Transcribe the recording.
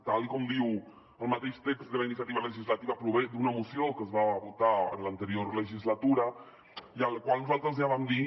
tal com diu el mateix text de la iniciativa legislativa prové d’una moció que es va votar en l’anterior legislatura i a la qual nosaltres ja vam dir